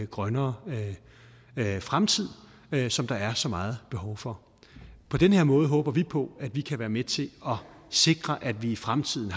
grønnere fremtid som der er så meget behov for på den her måde håber vi på at vi kan være med til at sikre at vi i fremtiden